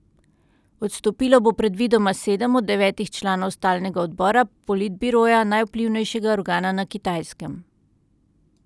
Odstopilo bo predvidoma sedem od devetih članov stalnega odbora politbiroja, najvplivnejšega organa na Kitajskem.